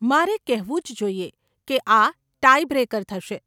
મારે કહેવું જ જોઈએ કે આ 'ટાઈ બ્રેકર' થશે.